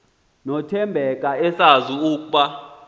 nothembeka esazi ukuba